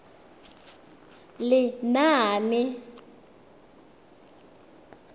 lenaane